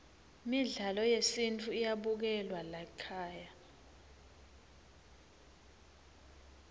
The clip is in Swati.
midlalo yesintfu iyabukelwa laykhaya